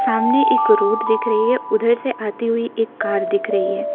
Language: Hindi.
सामने एक रोड दिख रही है उधर से आती हुई एक कार दिख रही है।